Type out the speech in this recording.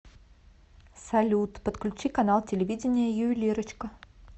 салют подключи канал телевидения ювелирочка